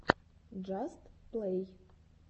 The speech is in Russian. джаст плэй